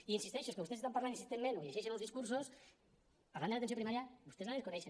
i hi insisteixo és que vostès estan parlant insistentment o llegeixen uns discursos parlant de l’atenció primària i vostès la desconeixen